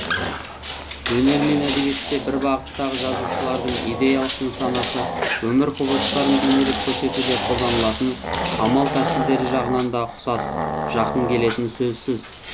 өнер мен әдебиетте бір бағыттағы жазушылардың идеялық нысанасы өмір құбылыстарын бейнелеп көрсетуде қолданылатын амал тәсілдері жағынан да ұқсас жақын келетіні сөзсіз